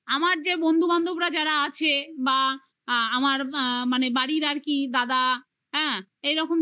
আমার যে বন্ধু বান্ধবরা যারা আছে বা আ আমার আ মানে বাড়ির আর কি দাদা